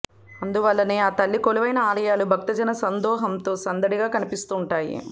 అందువల్లనే ఆ తల్లి కొలువైన ఆలయాలు భక్తజన సందోహంతో సందడిగా కనిపిస్తూ వుంటాయి